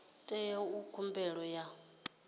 tea u ita khumbelo ya